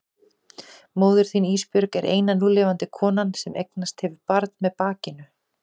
Móðir þín Ísbjörg er eina núlifandi konan sem eignast hefur barn með bakinu.